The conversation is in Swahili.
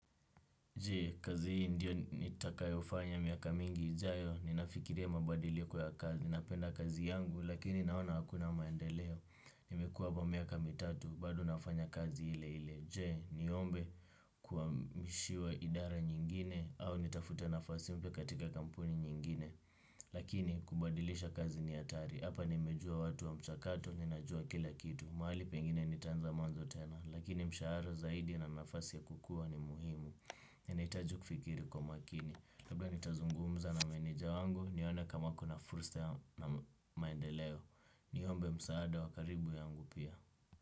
Je, kazi hii ndio nitakayo fanya miaka mingi jayo? Ninafikiria mabadiliko ya kazi, napenda kazi yangu, lakini naona hakuna maendeleo, nimekuwa hapa miaka mitatu, bado nafanya kazi ile ile, je, niombe kuhamishiwa idara nyingine, au nitafute nafasi mpya katika kampuni nyingine, lakini kubadilisha kazi ni hatari, hapa nimejua watu wa mchakato, ninajua kila kitu, mahali pengine nitanza mwanzo tena, lakini mshahara zaidi na nafasi ya kukua ni muhimu. Yanahitaji kufikiri kwa makini labda nitazungumza na meneja wangu nione kama kuna fursa ya maendeleo. Niombe msaada wa karibu yangu pia.